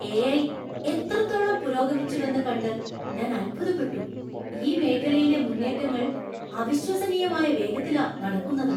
AI. എത്രത്തോളം പുരോഗമിച്ചുവെന്ന് കണ്ട് ഞാൻ അത്ഭുതപ്പെട്ടു. ഈ മേഖലയിലെ മുന്നേറ്റങ്ങൾ അവിശ്വസനീയമായ വേഗത്തിലാ നടക്കുന്നത്.